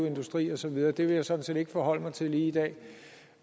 industri og så videre det vil jeg sådan set ikke forholde mig til lige i dag